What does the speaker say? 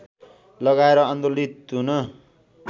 लगाएर आन्दोलित हुन